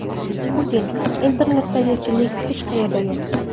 Putin: Internetda erkinlik hech qayerda yo‘q.